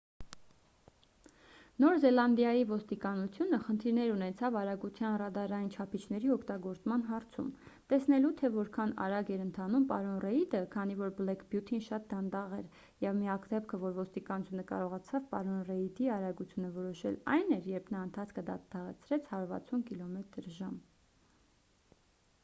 նոր զելանդիայի ոստիկանությունը խնդիրներ ունեցավ արագության ռադարային չափիչների օգտագործման հարցում՝ տեսնելու թե որքան արագ էր ընթանում պարոն ռեիդը քանի որ բլեք բյութին շատ դանդաղ էր և միակ դեպքը որ ոստիկանությունը կարողացավ պարոն ռեիդի արագությունը որոշել այն էր երբ նա ընթացքը դանդաղեցրեց 160 կմ/ժ: